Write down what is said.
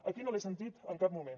aquí no l’he sentit en cap moment